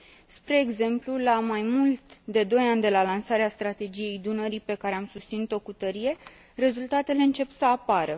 Spre exemplu, la mai mult de doi ani de la lansarea Strategiei Dunării, pe care am susținut o cu tărie, rezultatele încep să apară.